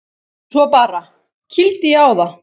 Svo bara. kýldi ég á það.